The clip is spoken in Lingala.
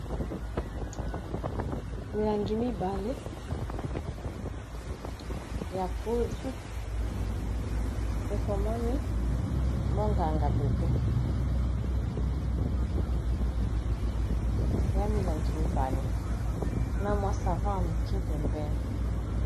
milangi mibale ya poudre ekomami monganga bebe eza milangi mibale na mwa savon ya moke pembene